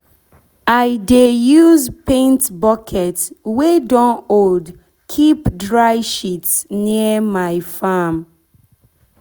i dey use use paint bucket wey don old keep dry shit near my farm.